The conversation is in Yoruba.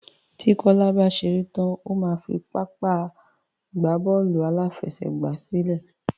Tí Kola bá gbà tán o ma fí ààyè Bọ́ọ̀lù àfẹsẹ̀gbá.